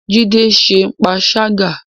Jide ń ṣe panṣágà